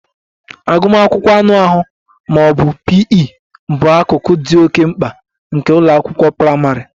Agụmakwụkwọ anụ ahụ ma ọ bụ P. E bụ akụkụ dị oke mkpa nke ụlọ akwụkwọ praịmarị